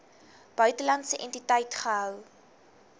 buitelandse entiteit gehou